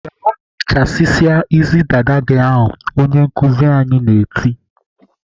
"Gaa chasisia isi dada gị ahụ!" Onye nkuzi anyị na-eti.